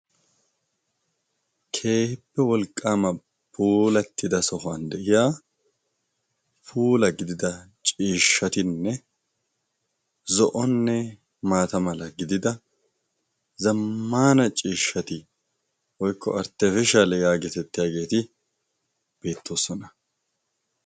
keehippe wolqqaama polattida sohuwan de'iya pula gidida ciishshatinne zo'onne maata mala gidida zammaana ciishshati oykkko artte fishal yaagitettiyaageeti beettoossona